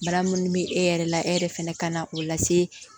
Bana minnu bɛ e yɛrɛ la e yɛrɛ fana ka na o lase